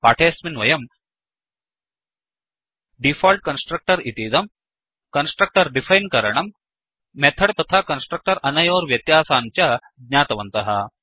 पाठेऽस्मिन् वयम् default constructor इतीदं कन्स्ट्रक्टर् डिफैन् करणम् मेथड् तथा कन्स्ट्रक्टर् अनयोर्व्यत्यासान् च ज्ञातवन्तः